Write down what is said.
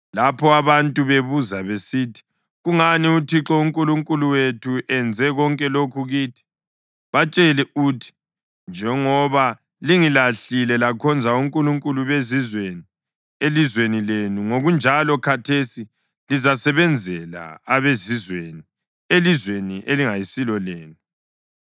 Lapho abantu bebuza besithi, ‘Kungani uThixo uNkulunkulu wethu enze konke lokhu kithi?’ Batshele uthi, ‘Njengoba lingilahlile lakhonza onkulunkulu bezizweni elizweni lenu, ngokunjalo khathesi lizasebenzela abezizweni elizweni elingayisilo lenu.’